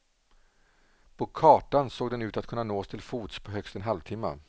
På kartan såg den ut att kunna nås till fots på högst en halvtimma.